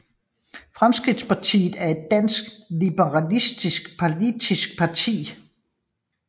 Fremskridtspartiet er et dansk liberalistisk politisk parti